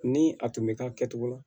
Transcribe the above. Ni a tun bɛ k'a kɛcogo la